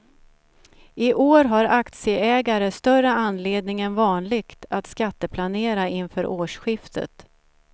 I år har aktieägare större anledning än vanligt att skatteplanera inför årsskiftet.